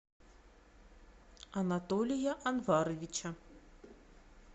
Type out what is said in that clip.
анатолия анваровича